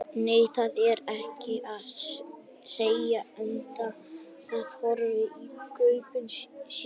Nei, það er ekki það, segir Edda og horfir í gaupnir sér.